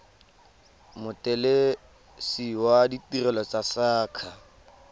mothelesi wa ditirelo tsa saqa